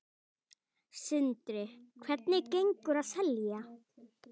Sindri: Hvernig gengur að selja?